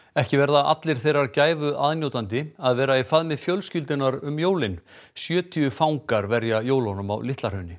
ekki verða allir þeirrar gæfu aðnjótandi að vera í faðmi fjölskyldunnar um jólin sjötíu fangar verja jólunum á Litla Hrauni